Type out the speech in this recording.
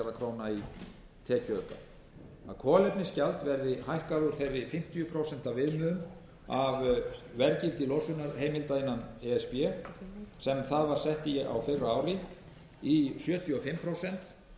króna í tekjuauka kolefnisgjald verður hækkað úr þeirri fimmtíu prósent viðmiðun af verðgildi losunarheimilda innan e s b sem það var sett í á fyrra ári í sjötíu og fimm prósent sem gefur um